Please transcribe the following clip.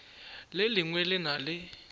le lengwe le na le